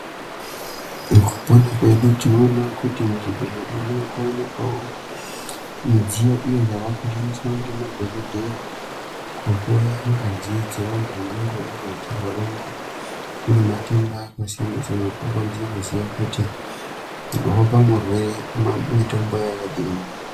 Mukupona kwedu tinoonawo kuti muzvibhedhlera makuonekwawo mudziyo iyo yavakushandiswa ngemadhokodheya kuhloya ngazi dzevantu vangangodai vachirwara ngematenda akasiyana siyana kuti vanokwanisa kuziya kuti unopa murwere mitombo yakadini.